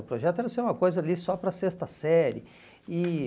O projeto era ser uma coisa ali só para a sexta série. E